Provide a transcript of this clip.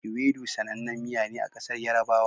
Ewedu sanan nan miya ne a ƙasar yarabawa.